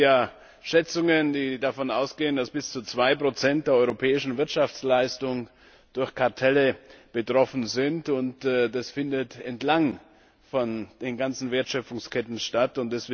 Es gibt ja Schätzungen, die davon ausgehen, dass bis zu 2 der europäischen Wirtschaftsleistung durch Kartelle betroffen sind, und das findet entlang der ganzen Wertschöpfungsketten statt.